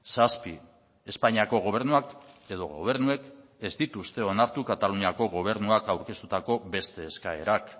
zazpi espainiako gobernuak edo gobernuek ez dituzte onartu kataluniako gobernuak aurkeztutako beste eskaerak